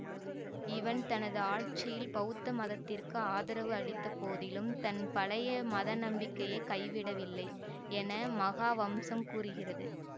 இவன் தனது ஆட்சியில் பெளத்த மதத்திற்கு ஆதரவு அளித்த போதிலும் தன் பழைய மதநம்பிக்கையைக் கைவிடவில்லை என மகாவம்சம் கூறுகிறது